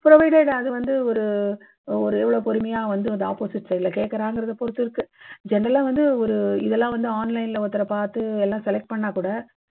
provided அது வந்து ஒரு ஒரு எவ்வளவு பொறுமையா வந்து அந்த opposite side ல கேக்கறாங்கங்கறதைப் பொறுத்து இருக்கு. general லா வந்து ஒரு இதெல்லாம் வந்து online ல ஒருத்தரை பார்த்து எல்லாம் select பண்ணினால் கூட